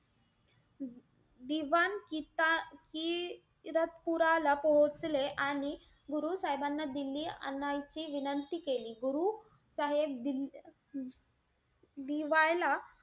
दिवान किता~ किरतपूराला पोहोचले. आणि गुरु साहेबांना दिल्ली आणायची विनंती केली. गुरु साहेब दि दिवायला,